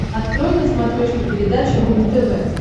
открой на смотрешке передачу рубль тв